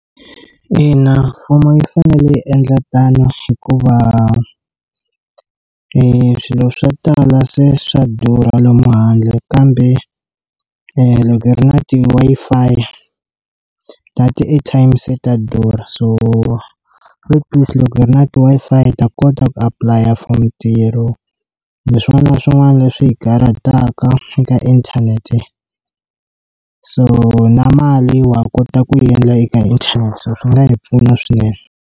Ina, mfumo yi fanele yi endla tano hikuva i swilo swo tala se swa durha lomu handle kambe loko i ri na ti Wi-Fi data na airtime se ta durha so replace loko hi ri na ti Wi-Fi ta kota ku apply a for mitirho na swin'wana na swin'wana leswi hi karataka eka inthanete so na mali wa kota ku endla eka inthanete swi nga hi pfuna swinene.